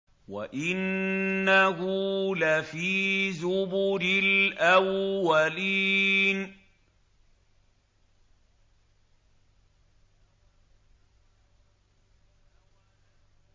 وَإِنَّهُ لَفِي زُبُرِ الْأَوَّلِينَ